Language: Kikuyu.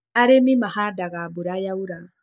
Arĩmi mahandaga mbura yaura.